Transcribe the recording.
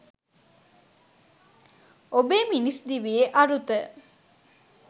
ඔබේ මිනිස් දිවියේ අරුත